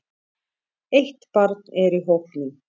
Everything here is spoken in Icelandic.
Eitt barn er í hópnum.